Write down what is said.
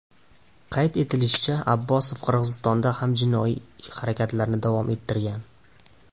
Qayd etilishicha, Abbosov Qirg‘izistonda ham jinoiy harakatlarini davom ettirgan.